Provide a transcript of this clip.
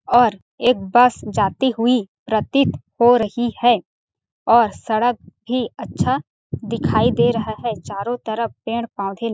और एक बस जाती हुई प्रतीत हो रही है और सड़क भी अच्छा दिखाई दे रहा है चारों तरफ पेड़ -पौधे--